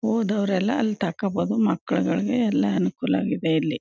ಓದೋವರೆಲ್ಲ ಅಲ್ಲೇ ತಕೋಬಹುದು ಮಕ್ಕಳುಗಳಿಗೆ ಎಲ್ಲ ಅನುಕೂಲಾಗಿದೆ ಇಲ್ಲಿ.